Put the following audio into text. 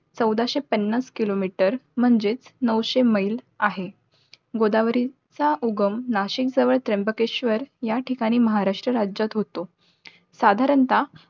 चौदाशे पन्नास kilometer, म्हणजेच नऊशे मैल आहे. गोदावरीचा उगम नाशिक जवळ, त्र्यंबकेश्वर या ठिकाणी महाराष्ट्र राज्यात होतो. साधारणता